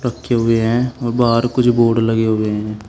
रखे हुए है और कुछ बोर्ड लगे हुए हैं।